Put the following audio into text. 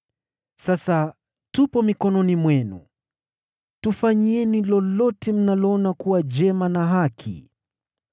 Sasa tupo mikononi mwako. Tufanyieni lolote mnaloona kuwa jema na haki kwako.”